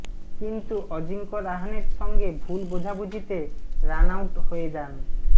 কিন্তু অজিঙ্ক রাহানের সঙ্গে ভুল বোঝাবুঝিতে রান আউট হয়ে যান